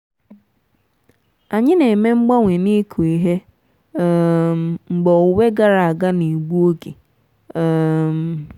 anyị na-eme mgbanwe n'ịkụ ihe um mgbe owuwe gara aga na-egbu oge. um